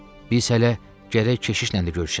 Biz hələ gərək keşişlə də görüşək.